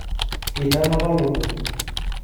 Itanapa lukuny.